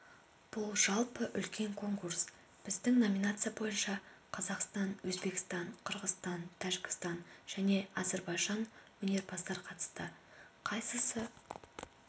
бұл жалпы үлкен конкурс біздің номинация бойынша қазақстан өзбекстан қырғызстан тәжікстан және әзербайжаннан өнерпаздар қатысты қайсысы